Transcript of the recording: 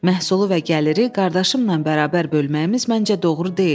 Məhsulu və gəliri qardaşımla bərabər bölməyimiz məncə doğru deyil.